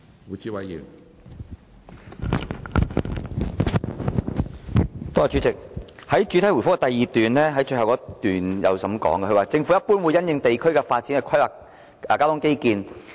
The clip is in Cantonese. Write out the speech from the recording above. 主席，局長在主體答覆的第二部分最後一段指出，"政府一般會因應地區的發展去規劃交通基建。